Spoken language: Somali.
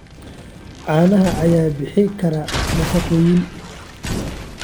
Caanaha ayaa bixin kara nafaqooyin.